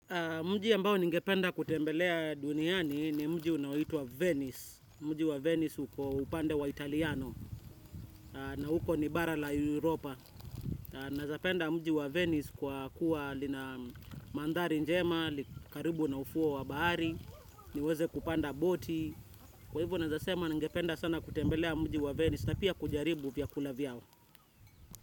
Mji ambao ninge penda kutembelea duniani ni mji unaoitwa Venice. Mji wa Venice uko upande wa Italiano na huko nibara la Europa. Naeza penda mji wa Venice kwa kuwa lina mandhari njema, likaribu na ufuo wa bahari, niweze kupanda boti. Kwa hivyo naezasema ninge penda sana kutembelea mji wa Venice na pia kujaribu vyakula vyao.